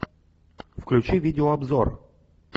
включи видеообзор